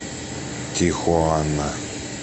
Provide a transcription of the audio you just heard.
тихуана